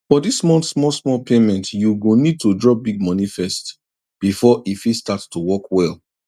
for dis month smallsmall payment you go need to drop big money first before e fit start to work well